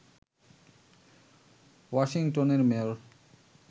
ওয়াশিংটনের মেয়র